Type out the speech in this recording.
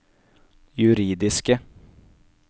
juridiske